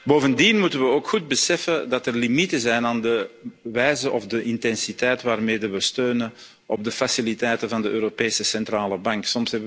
Bovendien moeten we ook goed beseffen dat er limieten zijn aan de wijze waarop of de intensiteit waarmee we steunen op de faciliteiten van de Europese Centrale